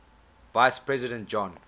vice president john